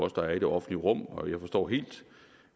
at der er i det offentlige rum og jeg forstår helt